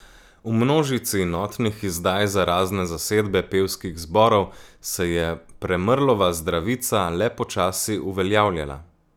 V množici notnih izdaj za razne zasedbe pevskih zborov se je Premrlova Zdravica le počasi uveljavljala.